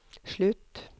slutt